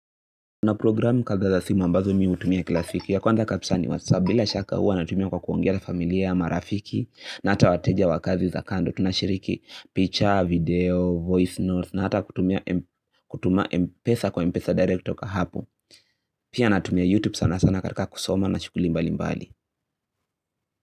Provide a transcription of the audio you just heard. Kuna programu kadha za simu ambazo mi hutumia kila siku ya kwanza kabisa ni whatsap bila shaka huwa natumia kwa kuongea na familia marafiki na hata wateja wa kazi za kando. Tunashiriki picha, video, voice notes na hata kutumia m kutuia mpesa kwa mpesa direct kutoka hapo Pia natumia youtube sana sana katika kusoma na shughuli mbali mbali.